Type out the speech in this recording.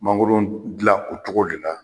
Mangoro dilan o cogo de la